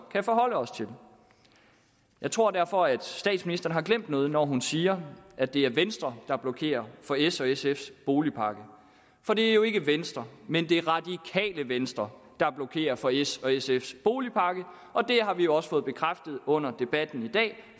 kan forholde os til jeg tror derfor at statsministeren har glemt noget når hun siger at det er venstre der blokerer for s og sfs boligpakke for det er jo ikke venstre men det radikale venstre der blokerer for s og sfs boligpakke og det har vi også fået bekræftet under debatten i dag